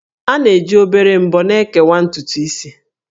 A na-eji obere ḿbọ́ na-ekewa ntutu isi